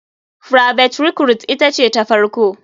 Private recruite ita ce ta farko.